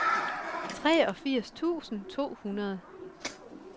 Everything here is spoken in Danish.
treogfirs tusind to hundrede